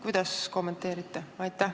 Kuidas kommenteerite?